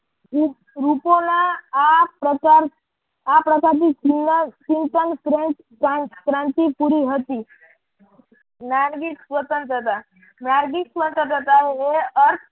રૂપોના આ પ્રકાર આ પ્રકાર ચિંતન શ્રેષ્ઠ ક્રાંતિ પુરી હતી. નારગી સ્વતંત્રતા નારગી સ્વતંત્રતા એ અર્થ